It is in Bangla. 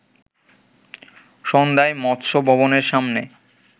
সন্ধ্যায় মৎস্য ভবনের সামনে